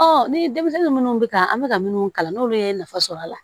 ni denmisɛnnin minnu bɛ ka an bɛ ka minnu kalan n'olu ye nafa sɔrɔ a la